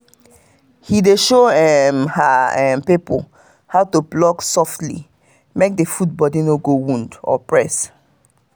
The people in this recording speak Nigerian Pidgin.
he dey show um her um people um how to pluck softly make the food body no go wound or press.